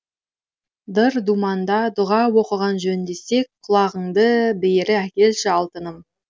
дыр думанда дұға оқыған жөн десең құлағыңды бері әкелші алтыным